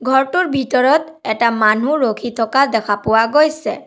ঘৰটোৰ ভিতৰত এটা মানুহ ৰখি থকা দেখা পোৱা গৈছে।